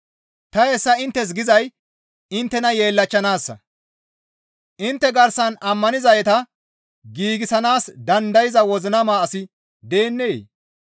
Ta hessa inttes gizay inttena yeellachchanaassa; intte garsan ammanizayta giigsanaas dandayza wozinama asi deennee?